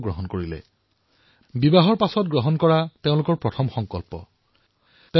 দুয়ো স্বামীস্ত্ৰীয়ে বিয়াৰ পিছত নিজৰ প্ৰথম সংকল্প এয়াই গ্ৰহণ কৰিলে